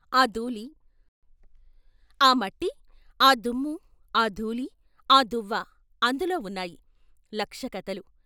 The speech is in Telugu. ఆ ధూళి ఆ మట్టి ఆ దుమ్ము ఆ దూళి ఆ దువ్వ అందులో ఉన్నాయి లక్ష కథలు.